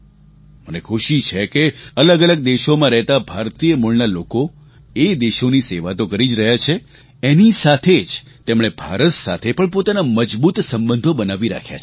મને ખુશી છે કે અલગઅલગ દેશોમાં રહેતા ભારતીય મૂળના લોકો એ દેશોની સેવા તો કરી જ રહ્યા છે એની સાથે જ તેમણે ભારત સાથે પણ પોતાના મજબૂત સંબંધો બનાવી રાખ્યા છે